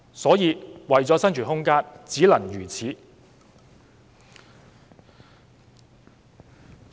因此，為了生存空間，他們只能如此。